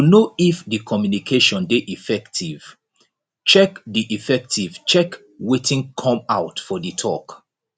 to know if di communication de effective check de effective check wetin come out for di talk